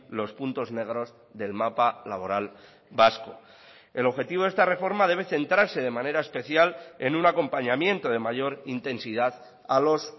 los puntos negros del mapa laboral vasco el objetivo de esta reforma debe centrarse de manera especial en un acompañamiento de mayor intensidad a los